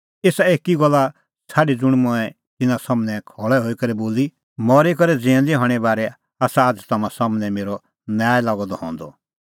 एसा एकी गल्ला छ़ाडी ज़ुंण मंऐं तिन्नां सम्हनै खल़ै हई करै बोली मरी करै ज़िऊंदै हणें बारै आसा आझ़ तम्हां सम्हनै मेरअ न्याय लागअ द हंदअ